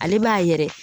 Ale b'a yɛrɛ